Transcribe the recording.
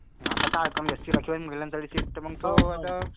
हा आता काय राखीव आहे अं ती सीट मग मेम्बर साठी उभा.